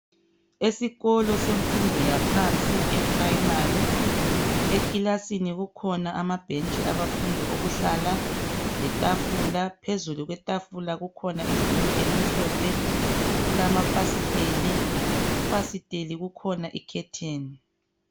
Esikolo semfundo yaphansi eprimary ekilasini kukhona amabhentshi abafundi okuhlala letafula phezulu kwetafula kukhona ibhuku elimhlophe kulamafasiteli kufasiteli kukhona icurtain.